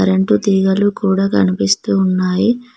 Current తీగలు కూడా కనిపిస్తూ ఉన్నాయి.